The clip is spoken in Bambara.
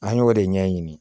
An y'o de ɲɛɲini